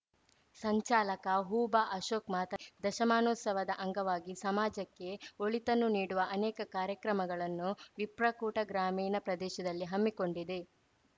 ಸಂಚಾಲಕ ಹುಭಾಅಶೋಕ್‌ ಮಾತನಾ ದಶಮಾನೋತ್ಸವದ ಅಂಗವಾಗಿ ಸಮಾಜಕ್ಕೆ ಒಳಿತನ್ನು ನೀಡುವ ಅನೇಕ ಕಾರ್ಯಕ್ರಮಗಳನ್ನು ವಿಪ್ರಕೂಟ ಗ್ರಾಮೀಣ ಪ್ರದೇಶದಲ್ಲಿ ಹಮ್ಮಿ ಕೊಂಡಿದೆ